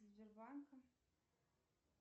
сбербанка